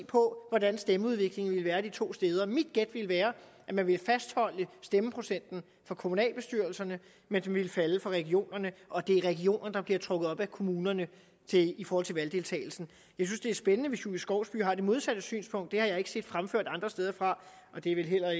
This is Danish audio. på hvordan stemmeudviklingen vil være de to steder mit gæt vil være at man vil fastholde stemmeprocenten for kommunalbestyrelserne mens den vil falde for regionerne og det er regionerne der bliver trukket op af kommunerne i forhold til valgdeltagelsen jeg synes det er spændende hvis fru julie skovsby har det modsatte synspunkt det har jeg ikke set fremført andre steder fra og det er